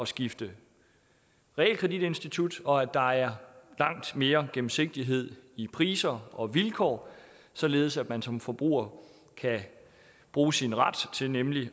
skifte realkreditinstitut og at der er langt mere gennemsigtighed i priser og vilkår således at man som forbruger kan bruge sin ret til nemlig